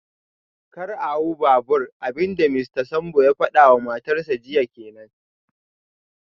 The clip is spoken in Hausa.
Kar a hau babur, abin da Mista Sambo ya fada wa matarsa ​​jiya kenan